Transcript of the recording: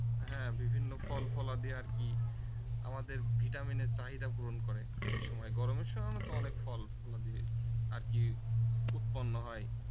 হ্যাঁ বিভিন্ন ফলফলাদি আর কি আমাদের vitamin এর চাহিদা পূরণ করে সে সময় গরমের সময় তো অনেক ফলফলাদি আর কি উৎপন্ন হয়